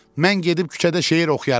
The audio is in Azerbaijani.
Mən gedib küçədə şeir oxuyaram.